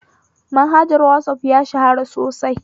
Manhajar whatsapp ya shahara sosai